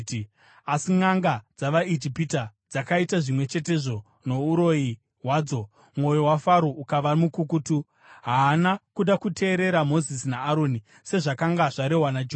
Asi nʼanga dzavaIjipita dzakaita zvimwe chetezvo nouroyi hwadzo, mwoyo waFaro ukava mukukutu; haana kuda kuteerera Mozisi naAroni, sezvakanga zvarehwa naJehovha.